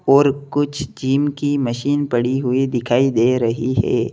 और कुछ जिम की मशीन पड़ी हुई दिखाई दे रही है।